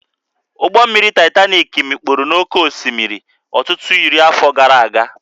Ụgbọ mmiri Titanik mikpuru n'oké osimiri ọtụtụ iri afọ gara aga